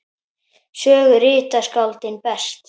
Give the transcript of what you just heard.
Sögu rita skáldin best.